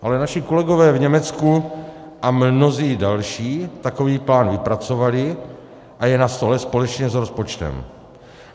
Ale naši kolegové v Německu a mnozí další takový plán vypracovali a je na stole společně s rozpočtem.